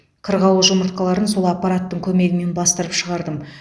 қырғауыл жұмыртқаларын сол аппараттың көмегімен бастырып шығардым